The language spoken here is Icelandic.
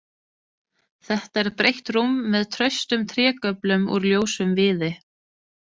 Þetta er breitt rúm með traustum trégöflum úr ljósum viði.